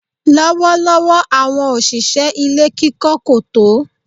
Lọ́wọ́lọ́wọ́ àwọn òṣìṣẹ́ ilé kíkọ́ kò tó.